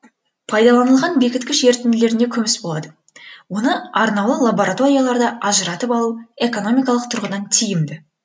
пайдаланылған бекіткіш ерітінділерде күміс болады оны арнаулы лабораторияларда ажыратып алу экономикалық тұрғыдан тиімді